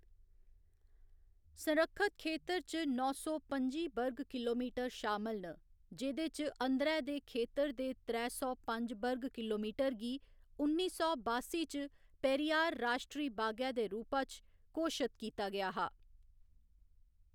संरक्षत खेतर च नौ सौ पं'जी वर्ग किलोमीटर शामल न, जेह्‌‌दे च अंदरै दे खेतर दे त्रै सौ पंज वर्ग किलोमीटर गी उन्नी सौ बास्सी च पेरियार राश्ट्री बागै दे रूपा च घोशत कीता गेआ हा।